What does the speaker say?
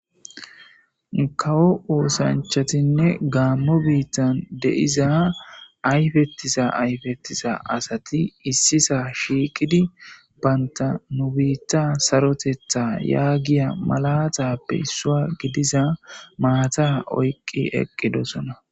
kawo oosanchatinne gaammo biittan deiza ayfettiza ayfettiza asati issisa shiiqidi baynta nu biitta sarotetha yaagiya malatappe issua gidiza maata oyqqi eqqidosona